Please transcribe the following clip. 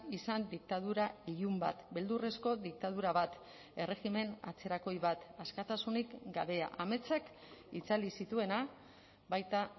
izan diktadura ilun bat beldurrezko diktadura bat erregimen atzerakoi bat askatasunik gabea ametsak itzali zituena baita